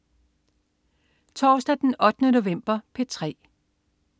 Torsdag den 8. november - P3: